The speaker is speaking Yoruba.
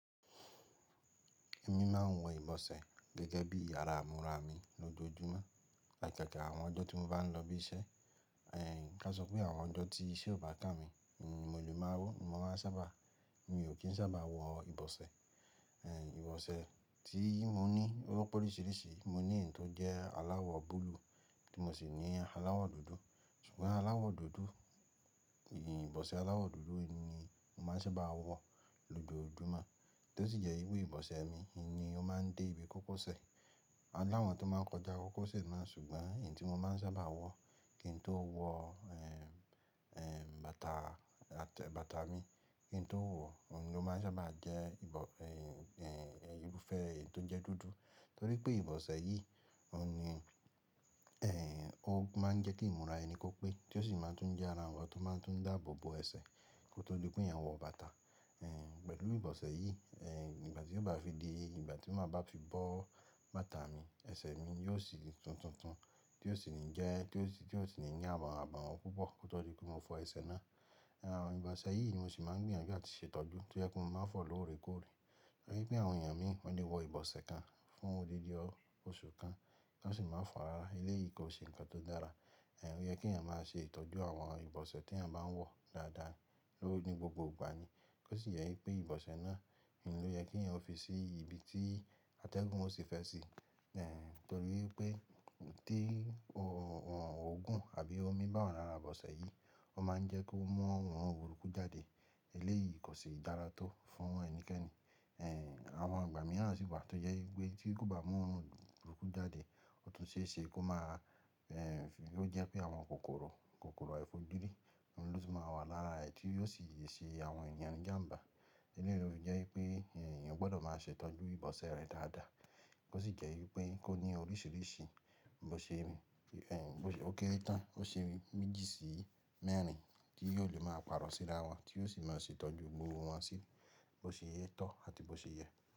Èmi máa n wọ ìbọ̀sẹ̀ gẹ́gẹ́ bí ara ìmúra mi lójoojúmọ́, láì pẹ̀kù àwọn ọjọ́ tí mo bá n lọ ibi iṣẹ́. Ẹ̀ ká sọ pé àwọn ọjọ́ tí iṣẹ́ ò bá tà mí, mo lè máa wọ, mo máa sábà, mi ò kí n sábà wọ ìbọ̀sẹ̀. Ìbọ̀sẹ̀ tí mo ní ó pọ̀ oríṣiríṣi, mo ní ẹ̀n tó jẹ́ aláwọ̀ búlúù, tí mo sì ní aláwọ̀ dúdú. Ṣùgbọ́n aláwọ̀ dúdú, ìbọ̀sẹ̀ aláwọ̀ dúdú ni mo máa ń sábà wọ lójoojúmọ́, tó sì jẹ́ wipe ìbọ̀sẹ̀ mi ni ó máa ń dé ibi kókósẹ̀. Àwọn tó máa ń kọjá kókósẹ̀ máa ń sùgbọ́n ẹ̀n tí mo máa ń sábà wọ, kí n tó wọ ẹ̀m ẹ̀m bàtà àtẹ́ bàtà mi, kí n tó wọ̀, òun ló máa ń sábà jẹ́ ìbọ̀ ẹ̀ e fẹ́ ẹ̀n tó jẹ́ dúdú. Torípé ìbọ̀sẹ̀ yìí, òun ni ẹ̀ òun máa ń jẹ́ kí ìmúra ẹni kó pé tí ó sì máa tún jẹ́ ara wọn tó máa tún dààbò bo ẹsẹ̀ kó tó di pé yẹn wọ bàtà. Ẹ̀ pẹ̀lú ìbọ̀sẹ̀ yìí, ẹ̀ ìgbà tí ó bá fi di, ìgbà tí máa ba fi bọ́ bàtà mi, ẹsẹ̀ mi yóò sì tún tùntún tí ó sì ní jẹ́, tí ó sì ní ní àbọ̀wọ́n púpọ̀ kó tó di pé mo fọ ẹsẹ̀ náà. Àwọn ìbọ̀sẹ̀ yìí ni mo sì máa ń gbìyànjú àti ṣètọ́jú ti ó jẹ pe mo máa fò lóore kóòre. Rí i pé àwọn èèyàn míì wọ́n lè wọ ìbọ̀sẹ̀ kan fún odidi oṣù kan kí wọ́n sì máa fò rara, eléyìí kò ṣe ǹkan tó dára. Ẹ̀ ó yẹ kí èèyàn máa ṣe ìtọ́jú àwọn ìbọ̀sẹ̀ tí èèyàn bá n wọ dáadáa ló ní gbogbo ìgbà ni. Kó sì jẹ wípé ìbọ̀sẹ̀ náà ni ó yẹ kí èèyàn fi sí ibi tí atẹ́gùn ó tì fẹ́ sí. Ẹ̀h nítorí pé tí òòrùn òògùn àbí omi bá wa lara ìbọ̀sẹ̀ yìí, ó máa ń jẹ́ kó mú òòrùn òrukú jáde, eléyìí kò sì dára tó fún ẹnikẹ́ni. Ẹ̀h àwọn ìgbà mìíràn sì wà tó jẹ wípé tí ó bá mú òòrùn burukú jáde, ó tún ṣe é ṣe kó máa ẹ̀ ló jẹ́ pé àwọn kòkòrò, kòkòrò aifojuri ni ó tì máa wà lára rẹ̀ tí yóò sì le àwọn èèyàn ni ìjàǹbá. Eléyìí ló fi jẹ́ wípé èèyàn gbọdọ̀ máa ṣè itọ́jú ìbọ̀sẹ̀ rẹ dáadáa. Kó sì jẹ́ wípé kó ní oríṣiríṣi bó ṣe ń mí, ẹ̀ bó ṣe ó kéré tán, bó ṣe ń méjì sí mẹ́rin tí yóò lè máa pàrọ̀ síra wọn tí ó sì máa ṣe ìtọ́jú gbogbo wọn sí bó ṣe yẹ tán àti bó ṣe yẹ.